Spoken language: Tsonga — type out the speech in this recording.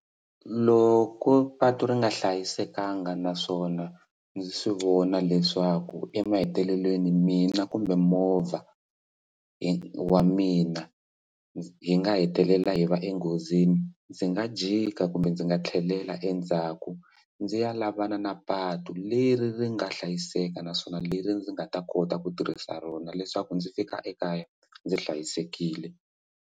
Loko patu ri nga hlayisekanga naswona ndzi swi vona leswaku emahetelelweni mina kumbe movha hi wa mina hi nga hetelela hi va enghozini ndzi nga jika kumbe ndzi nga tlhelela endzhaku ndzi ya lavana na patu leri ri nga hlayiseka naswona leri ndzi nga ta kota ku tirhisa rona leswaku ndzi fika ekaya ndzi hlayisekile.